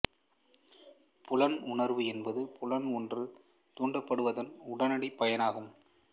புலன் உணர்வு என்பது புலன் ஓன்று தூண்டப்படுவதன் உடனடி பயனாகும்